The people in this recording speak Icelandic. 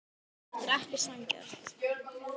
Hann hugsaði með sjálfum sér: Þetta er ekki sanngjarnt.